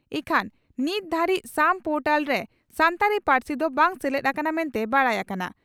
ᱤᱠᱷᱟᱹᱱ ᱱᱤᱛ ᱫᱷᱟᱹᱨᱤᱡ ᱥᱟᱢ ᱯᱚᱨᱴᱟᱞᱨᱮ ᱥᱟᱱᱛᱟᱲᱤ ᱯᱟᱹᱨᱥᱤ ᱫᱚ ᱵᱟᱝ ᱥᱮᱞᱮᱫ ᱟᱠᱟᱱᱟ ᱢᱮᱱᱛᱮ ᱵᱟᱰᱟᱭ ᱟᱠᱟᱱᱟ ᱾